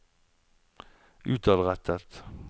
utadrettet